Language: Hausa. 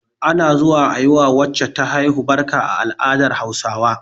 Ana zuwa a yi wa wacce ta haihu barka a al'adar Hausawa